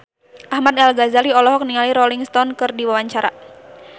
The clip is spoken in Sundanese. Ahmad Al-Ghazali olohok ningali Rolling Stone keur diwawancara